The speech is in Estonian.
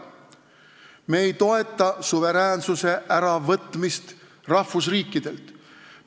Me ei toeta suveräänsuse äravõtmist rahvusriikidelt.